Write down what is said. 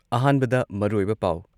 ꯑꯍꯥꯟꯕꯗ ꯃꯔꯨꯑꯣꯏꯕ ꯄꯥꯎ